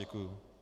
Děkuji.